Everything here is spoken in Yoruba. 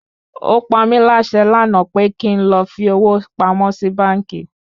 Ó pamí láṣẹ lànà pe kín lọ fi owó pamọ́ sì báńkì!